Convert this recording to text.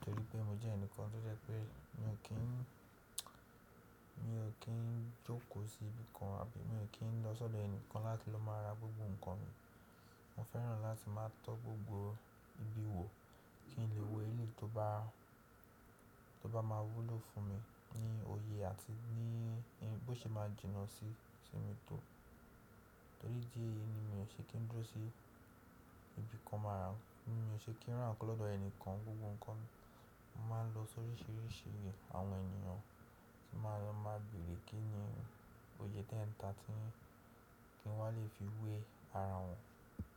torí pé mo jẹ́ ẹnìkan tó jẹ́ pé mi ò kí ń, mi ò kí ń jókòó sí ibi kan àbí mi ò kí ń lọ sọ́dọ̀ ẹnìkan láti lọ máa ra gbogbo nǹkan mi. Mo fẹ́ràn láti máa tọ́ gbogbo ibi wò kí n lè wo èyí tó bá, tó bá máa wúlò fún mi ní òye àti ní bí ó ṣe máa jìnnà sí, sí mi tó. Torí díẹ̀ yìí ni mi ò ṣe kí ń dúró sí ibi kan máa ra, mi ò ṣe kí ń ra nǹkan lọ́dọ̀ ẹnìkan gbogbo nǹkan. Mo máa ń lọ sóríṣiríṣi àwọn ènìyàn tí màá lọ máa béèrè kí ni òye t'enta tí yin kin wa lè fi wé ara wọn.